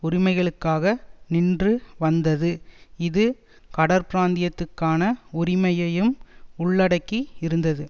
உரிமைகளுக்காக நின்று வந்ததுஇது கடற்பிராந்தியத்துக்கான உரிமையையும்உள்ளடக்கி இருந்தது